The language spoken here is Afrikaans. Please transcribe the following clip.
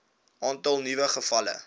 aantal nuwe gevalle